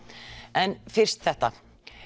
en fyrst þetta